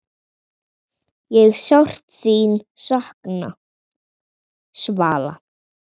Ég sárt þín sakna, Svala.